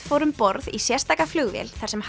fór um borð í sérstaka flugvél þar sem